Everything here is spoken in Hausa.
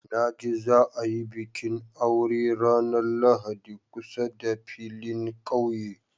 Na ji za a yi bikin aure ranar Lahadi kusa da filin ƙauye.